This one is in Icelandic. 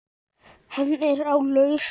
Hann er á lausu.